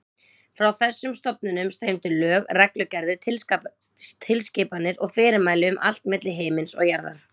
Frá þessum stofnunum streymdu lög, reglugerðir, tilskipanir og fyrirmæli um allt milli himins og jarðar.